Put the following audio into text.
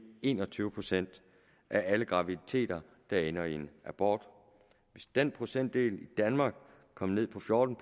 en og tyve procent af alle graviditeter der ender i en abort hvis den procentdel i danmark kom ned på fjorten